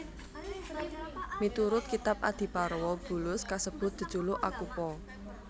Miturut kitab Adiparwa bulus kasebut jejuluk Akupa